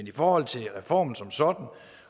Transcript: i forhold til reformen som sådan og